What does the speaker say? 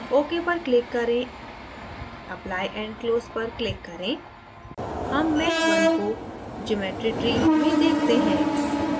ok पर click करें apply and close पर click करें हम mesh _ 1 को geometry tree में देखते हैं